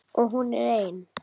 Og hún er ein.